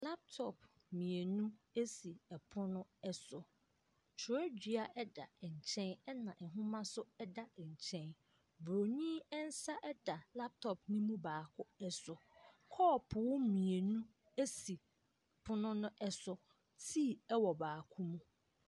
Laptɔp mmienu esi ɛpono ɛso. Kyerɛwdua ɛda nkyɛn ɛna nhoma nso ɛda nkyɛn. Boroni nsa ɛda laptɔp no mu baako ɛso. Kɔɔpo mmienu esi pono ɛso. Tii ɛwɔ baako mu.